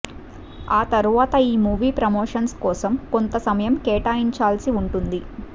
ఆ తర్వాత ఈ మూవీ ప్రమోషన్స్ కోసం కొంత సమయం కేటాయించాల్సి ఉంటుంది